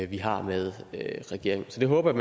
vi har med regeringen så det håber